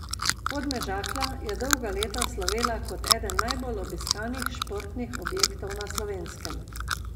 Podmežakla je dolga leta slovela kot eden najbolj obiskanih športnih objektov na Slovenskem.